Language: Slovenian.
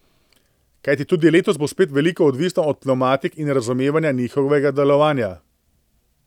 Kajti tudi letos bo spet veliko odvisno od pnevmatik in razumevanja njihovega delovanja.